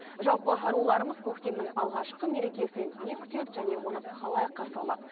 жалпы аруларымыз көктемнің алғашқы мерекесінен не күтеді және оны қалай қарсы алмақ